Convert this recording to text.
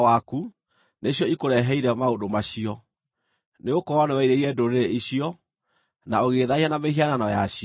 nĩcio ikũreheire maũndũ macio, nĩgũkorwo nĩwerirĩirie ndũrĩrĩ icio, na ũgĩĩthaahia na mĩhianano yacio.